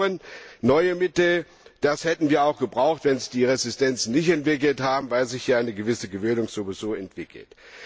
Wir brauchen neue Mittel. Die hätten wir auch gebraucht, wenn sich die Resistenzen nicht entwickelt hätten, weil sich ja eine gewisse Gewöhnung sowieso entwickelt.